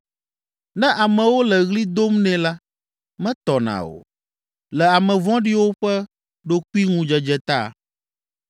Ne amewo le ɣli dom nɛ la, metɔna o, le ame vɔ̃ɖiwo ƒe ɖokuiŋudzedze ta.